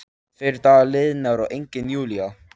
Tveir dagar liðnir og engin Júlía.